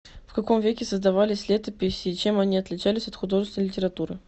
в каком веке создавались летописи и чем они отличались от художественной литературы